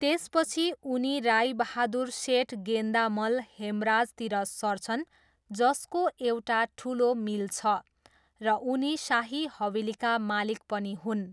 त्यसपछि उनी राईबहादुर सेठ गेन्दामल हेमराजतिर सर्छन् जसको एउटा ठुलो मिल छ र उनी शाही हवेलीका मालिक पनि हुन्।